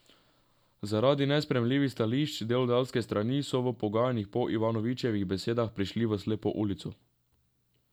Zaradi nesprejemljivih stališč delodajalske strani so v pogajanjih po Ivanovičevih besedah prišli v slepo ulico.